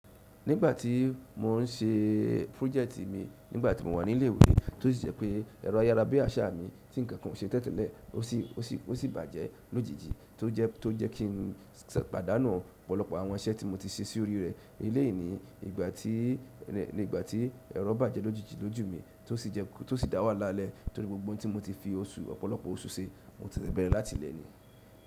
Nígbà tí mò ń ṣe project mi nígbà tí mo wà ní ilé ìwé tó sì jẹ́ pé ẹ̀rọ ayára bí àṣá mi tí ǹkan kan ò ṣe tẹ́tẹ́lẹ̀ ó sì, ó sì, ó sì bàjẹ́ lójijì tó jẹ́, tó jẹ́ kí n pàdánù ọ̀pọ̀lọpọ̀ àwọn isẹ̀ tí mo ti ṣe sórí rẹ̀. Eléyí ni ìgbà tí, nígbà tí ẹ̀rọ bàjẹ́ lójijì lọ́ju mi tó sì jẹ́, tó sì dá wàla lẹ́ torí gbogbo ohun tí mo ti fi oṣù, ọ̀pọ̀lọpọ̀ oṣù ṣe mo ti bẹ̀rẹ̀ láti lẹ́ẹ̀ ni.